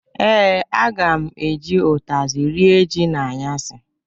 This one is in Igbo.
Ee, aga m eji ụtazị rịe ji n'anyasị.